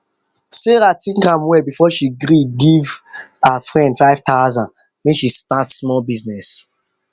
sarah think am well before she gree give gree give her friend five thousand make she start small business